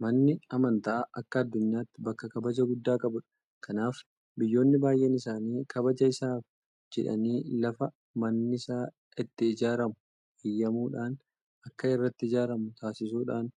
Manni amantaa akka addunyaatti bakka kabaja guddaa qabudha. Kanaaf biyyoonni baay'een isaanii kabaja isaaf jedhanii lafa mannisaa itti ijaaramu eeyyamuudhaan akka irratti ijaaramu taasisuidhaan